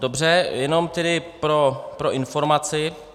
Dobře, jenom tedy pro informaci.